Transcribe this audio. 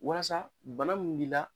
Walasa bana min b'i la